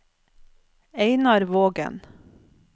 Einar Vågen